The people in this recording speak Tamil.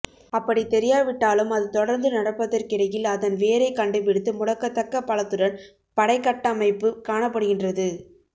அப்படித் தெரியாவிட்டாலும் அது தொடர்ந்து நடப்பதற்கிடையில் அதன் வேரைக் கண்டுபிடித்து முடக்கத்தக்க பலத்துடன் படைக்கட்டமைப்பு காணப்படுகின்றது